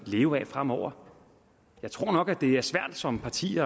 leve af fremover jeg tror nok at det er svært som parti